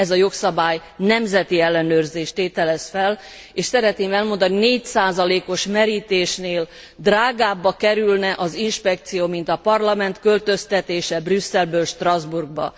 Ez a jogszabály nemzeti ellenőrzést tételez fel, és szeretném elmondani, 4 os merítésnél drágábba kerülne az inspekció, mint a Parlament költöztetése Brüsszelből Strasbourgba.